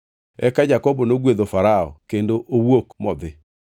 Eka Jakobo nogwedho Farao kendo owuok modhi.